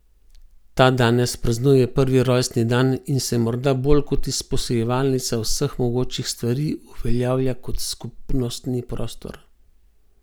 Ta danes praznuje prvi rojstni dan in se morda bolj kot izposojevalnica vseh mogočih stvari uveljavlja kot skupnostni prostor.